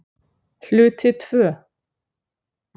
Hluti II